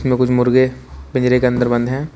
यहां कुछ मुर्गे पिंजरे के अंदर बंद है।